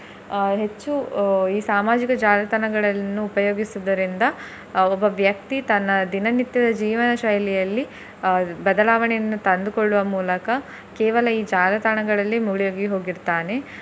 ಅಹ್ ಹೆಚ್ಚು ಈ ಸಾಮಾಜಿಕ ಜಾಲತಾಣಗಳನ್ನು ಉಪಯೋಗಿಸುವುದರಿಂದ ಒಬ್ಬ ವ್ಯಕ್ತಿ ತನ್ನ ದಿನ ನಿತ್ಯದ ಜೀವನ ಶೈಲಿಯಲ್ಲಿ ಅಹ್ ಬದಲಾವಣೆಯನ್ನು ತಂದು ಕೊಡುವ ಮೂಲಕ ಕೇವಲ ಈ ಜಾಲತಾಣಗಳಲ್ಲಿ ಮುಳುಗಿ ಹೋಗಿರ್ತಾನೆ.